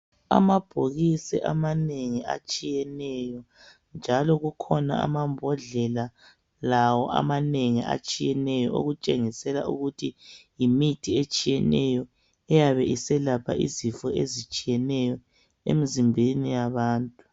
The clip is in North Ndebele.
Amabhokisi amanengi atshiyeneyo njalo kukhona amambondlela lawo amanengi atshiyeneyo okutshengisela ukuthi yimithi etshiyeneyo eyabe eselapha izifo ezitshiyeneyo emzimbeni yabantu.